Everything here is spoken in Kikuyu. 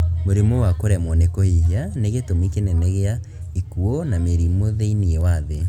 Mũrimũ wa kũremwo nĩ kũhihia nĩ gĩtũmi kĩnene gĩa ikuũ na mĩrimũ thĩiniĩ wa thĩ